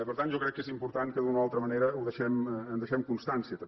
per tant jo crec que és important que d’una o altra manera en deixem constància també